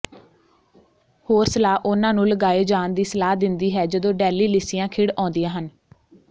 ਹੋਰ ਸਲਾਹ ਉਹਨਾਂ ਨੂੰ ਲਗਾਏ ਜਾਣ ਦੀ ਸਲਾਹ ਦਿੰਦੀ ਹੈ ਜਦੋਂ ਡੈਲਿਲਿਸੀਆਂ ਖਿੜ ਆਉਂਦੀਆਂ ਹਨ